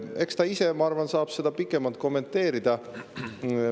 Eks ta ise, ma arvan, saab seda pikemalt kommenteerida.